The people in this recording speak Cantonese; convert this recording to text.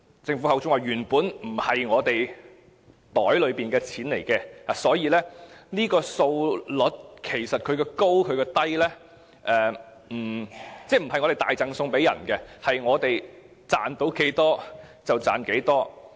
政府說，這些原本不是我們口袋裏的錢，所以這個稅率的高低，並不是我們大贈送，而是賺到多少，便是多少。